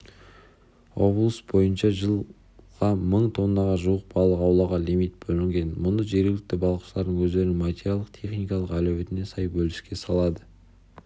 облыс бойынша жылға мың тоннаға жуық балық аулауға лимит бөлінген мұны жергілікті балықшылар өздерінің материалдық-техникалық әлеуетіне сай бөліске салады